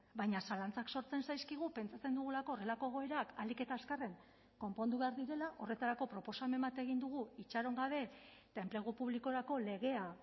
baina zalantzak sortzen zaizkigu pentsatzen dugulako horrelako egoerak ahalik eta azkarren konpondu behar direla horretarako proposamen bat egin dugu itxaron gabe eta enplegu publikorako legea